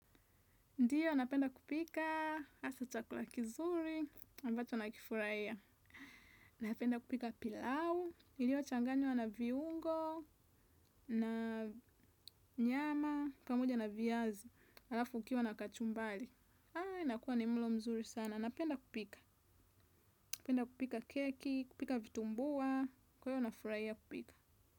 Ndiyo, napenda kupika, hasa chakula kizuri, ambacho nakifurahiya. Napenda kupika pilau, iliochanganywa na viungo, na nyama, pamoja na viazi, halafu ukiwa na kachumbali. Haa, inakuwa ni mlo mzuri sana. Napenda kupika, napenda kupika keki, kupika vitumbua, kwahiyo nafurahiya kupika.